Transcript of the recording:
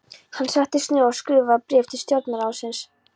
Hann settist niður og skrifaði bréf til stjórnarráðsins.